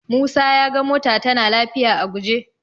Musa ya ga mota tana lafiya a guje.